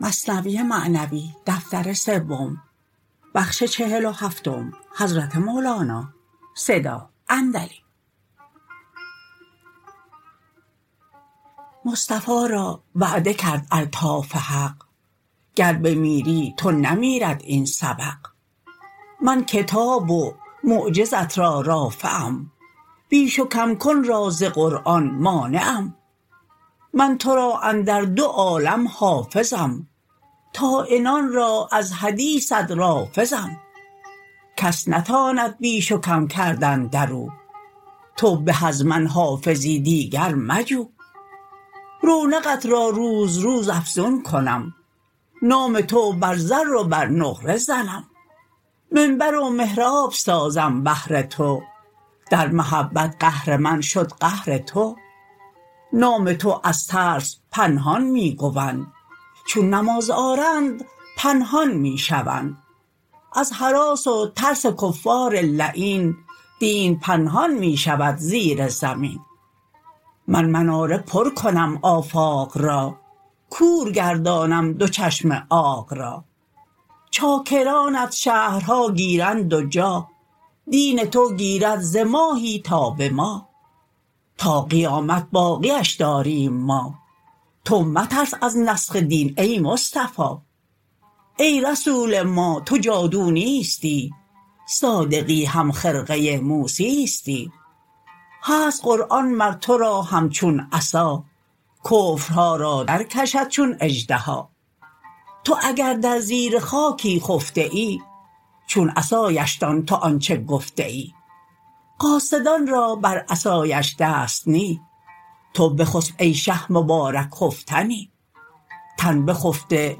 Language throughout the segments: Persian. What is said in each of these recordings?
مصطفی را وعده کرد الطاف حق گر بمیری تو نمیرد این سبق من کتاب و معجزه ت را رافعم بیش و کم کن را ز قرآن مانعم من تو را اندر دو عالم حافظم طاعنان را از حدیثت رافضم کس نتاند بیش و کم کردن درو تو به از من حافظی دیگر مجو رونقت را روز روز افزون کنم نام تو بر زر و بر نقره زنم منبر و محراب سازم بهر تو در محبت قهر من شد قهر تو نام تو از ترس پنهان می گوند چون نماز آرند پنهان می شوند از هراس و ترس کفار لعین دینت پنهان می شود زیر زمین من مناره پر کنم آفاق را کور گردانم دو چشم عاق را چاکرانت شهرها گیرند و جاه دین تو گیرد ز ماهی تا به ماه تا قیامت باقیش داریم ما تو مترس از نسخ دین ای مصطفی ای رسول ما تو جادو نیستی صادقی هم خرقه موسیستی هست قرآن مر تو را همچون عصا کفرها را در کشد چون اژدها تو اگر در زیر خاکی خفته ای چون عصایش دان تو آنچ گفته ای قاصدان را بر عصایش دست نی تو بخسپ ای شه مبارک خفتنی تن بخفته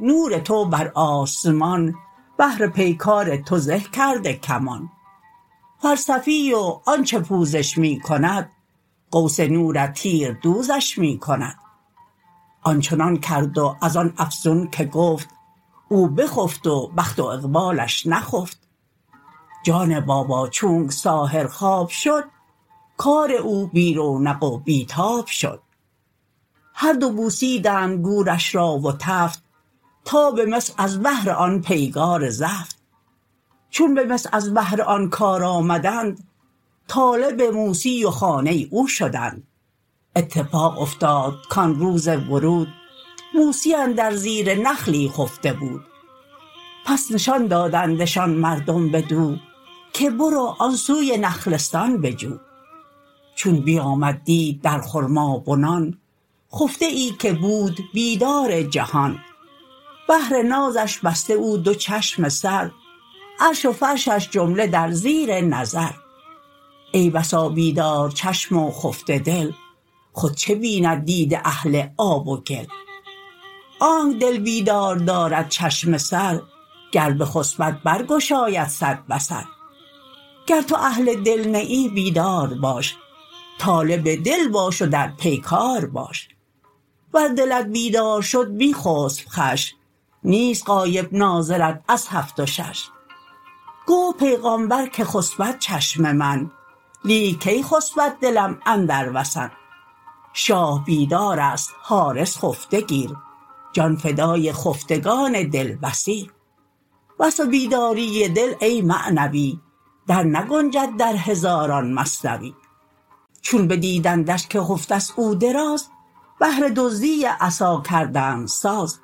نور تو بر آسمان بهر پیکار تو زه کرده کمان فلسفی و آنچ پوزش می کند قوس نورت تیردوزش می کند آنچنان کرد و از آن افزون که گفت او بخفت و بخت و اقبالش نخفت جان بابا چونک ساحر خواب شد کار او بی رونق و بی تاب شد هر دو بوسیدند گورش را و تفت تا به مصر از بهر آن پیگار زفت چون به مصر از بهر آن کار آمدند طالب موسی و خانه او شدند اتفاق افتاد کان روز ورود موسی اندر زیر نخلی خفته بود پس نشان دادندشان مردم بدو که برو آن سوی نخلستان بجو چون بیامد دید در خرمابنان خفته ای که بود بیدار جهان بهر نازش بسته او دو چشم سر عرش و فرشش جمله در زیر نظر ای بسا بیدارچشم و خفته دل خود چه بیند دید اهل آب و گل آنک دل بیدار دارد چشم سر گر بخسپد بر گشاید صد بصر گر تو اهل دل نه ای بیدار باش طالب دل باش و در پیکار باش ور دلت بیدار شد می خسپ خوش نیست غایب ناظرت از هفت و شش گفت پیغامبر که خسپد چشم من لیک کی خسپد دلم اندر وسن شاه بیدارست حارس خفته گیر جان فدای خفتگان دل بصیر وصف بیداری دل ای معنوی در نگنجد در هزاران مثنوی چون بدیدندش که خفته ست او دراز بهر دزدی عصا کردند ساز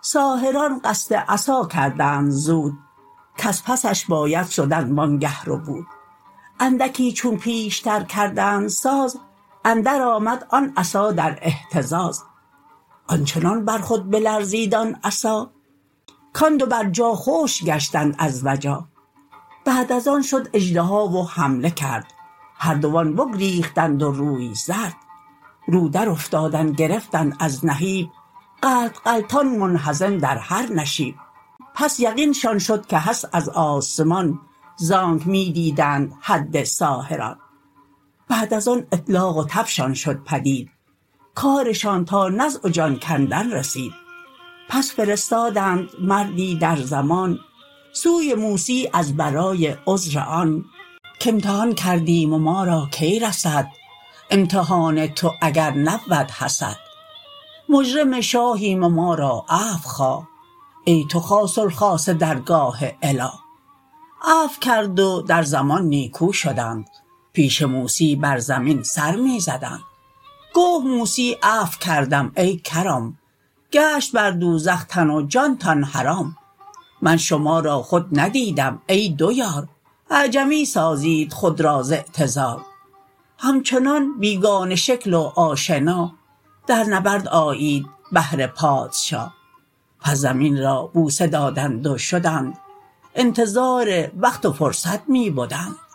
ساحران قصد عصا کردند زود کز پسش باید شدن وانگه ربود اندکی چون پیشتر کردند ساز اندر آمد آن عصا در اهتزاز آنچنان بر خود بلرزید آن عصا کان دو بر جا خشک گشتند از وجا بعد از آن شد اژدها و حمله کرد هر دوان بگریختند و روی زرد رو در افتادن گرفتند از نهیب غلط غلطان منهزم در هر نشیب پس یقین شان شد که هست از آسمان زانک می دیدند حد ساحران بعد از آن اطلاق و تبشان شد پدید کارشان تا نزع و جان کندن رسید پس فرستادند مردی در زمان سوی موسی از برای عذر آن که امتحان کردیم و ما را کی رسد امتحان تو اگر نبود حسد مجرم شاهیم ما را عفو خواه ای تو خاص الخاص درگاه اله عفو کرد و در زمان نیکو شدند پیش موسی بر زمین سر می زدند گفت موسی عفو کردم ای کرام گشت بر دوزخ تن و جانتان حرام من شما را خود ندیدم ای دو یار اعجمی سازید خود را ز اعتذار همچنان بیگانه شکل و آشنا در نبرد آیید بهر پادشا پس زمین را بوسه دادند و شدند انتظار وقت و فرصت می بدند